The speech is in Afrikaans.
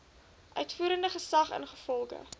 uitvoerende gesag ingevolge